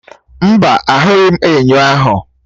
Mba, ahụghị m enyo ahụ.